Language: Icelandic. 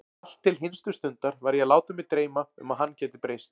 Allt til hinstu stundar var ég að láta mig dreyma um að hann gæti breyst.